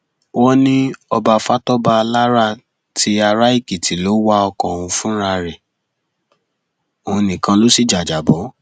wọn ní ọba fatọba alára ti araèkìtì ló wa ọkọ ọhún fúnra rẹ òun nìkan ló sì jájábọ